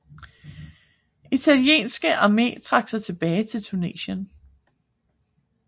Italienske Arme trak sig tilbage til Tunesien